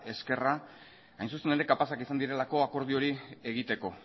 esquerra hain zuzen ere kapazak izan direlako akordio hori egiteko